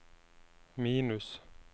minus